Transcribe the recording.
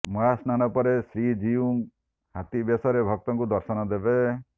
ମହାସ୍ନାନ ପରେ ଶ୍ରୀଜିଉ ହାତୀ ବେଶରେ ଭକ୍ତଙ୍କୁ ଦର୍ଶନ ଦେବେ